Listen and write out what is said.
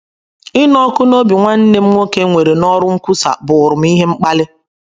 Ịnụ ọkụ n’obi nwanne m nwoke nwere n’ọrụ nkwusa bụụrụ m ihe mkpali.